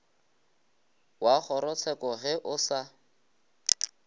wa kgorotsheko ge o sa